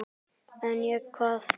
En ég, hvað?